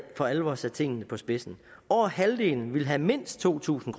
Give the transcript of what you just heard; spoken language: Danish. for alvor sat tingene på spidsen over halvdelen ville have mindst to tusind